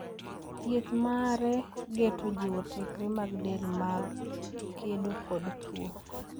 Thieth mare geto jiwo tekre mag del mag kedo kod tuo.